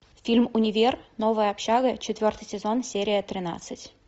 фильм универ новая общага четвертый сезон серия тринадцать